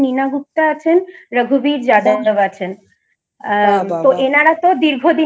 Nina Gupta আছেন Raghuber Yadab আছেন তো এনারা তো দীর্ঘদিনের